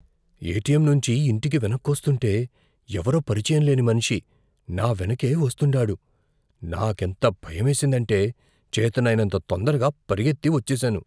ATM నుంచి ఇంటికి వెనక్కొస్తుంటే ఎవరో పరిచయంలేని మనిషి నా వెనకే వస్తుండాడు. నాకెంత భయమేసిందంటే చేతనైనంత తొందరగా పరిగెత్తి వచ్చేసాను.